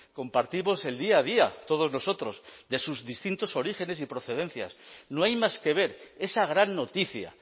compartimos el día a día todos nosotros de sus distintos orígenes y procedencias no hay más que ver esa gran noticia